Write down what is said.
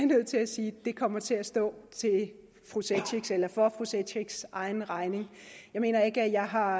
nødt til at sige kommer til at stå for fru cekics egen regning jeg mener ikke jeg har